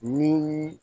Ni